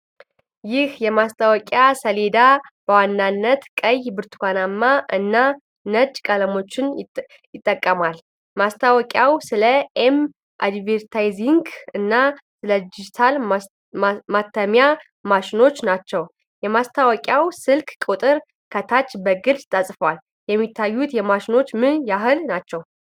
ይህ የማስታወቂያ ሰሌዳ በዋናነት ቀይ ብርቱካናማ እና ነጭ ቀለሞችን ይጠቀማል። ማስታወቂያው ስለ ኤም አድቨርታይዚንግ እና ስለዲጂታል ማተሚያ ማሽኖቻቸው ናቸው። የማስታወቂያው ስልክ ቁጥር ከታች በግልጽ ተጽፏል። የሚታዩት ማሽኖች ምን ያህል ናቸው?